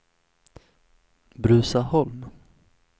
Bruzaholm